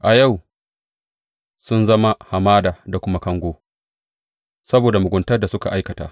A yau sun zama hamada da kuma kango saboda muguntar da suka aikata.